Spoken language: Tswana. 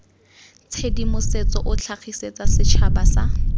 tshedimosetso o tlhagisetsa setšhaba sa